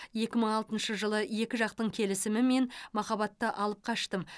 екі мың алтыншы жылы екі жақтың келісімімен махаббаты алып қаштым